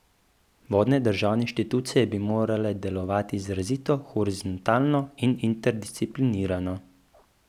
Vodne državne inštitucije bi morale delovati izrazito horizontalno in interdisciplinarno.